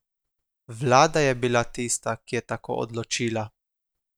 Vlada je bila tista, ki je tako odločila.